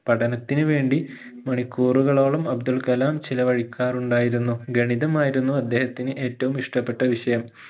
പഠനത്തിന് വേണ്ടി മണിക്കൂറുകളോളം അബ്ദുൾകലാം ചെലവഴിക്കാറുണ്ടായിരുന്നു ഗണിതമായിരുന്നു അദ്ദേഹത്തിന് ഏറ്റവും ഇഷ്ടപെട്ട വിഷയം